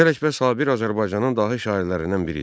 Mirzə Ələkbər Sabir Azərbaycanın dahi şairlərindən biri idi.